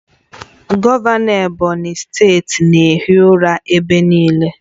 Gọvanọ Ebonyi steeti na-ehi ụra ebe niile